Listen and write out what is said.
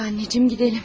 Hadi, anacan, gedək.